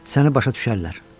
Səni başa düşərlər.